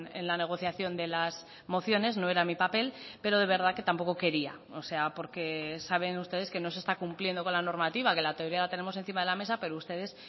en la negociación de las mociones no era mi papel pero de verdad que tampoco quería o sea porque saben ustedes que no se está cumpliendo con la normativa que la teoría la tenemos encima de la mesa pero ustedes